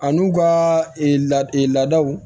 A n'u ka laadaw